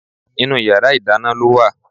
Inú yàrá ìdáná ló wà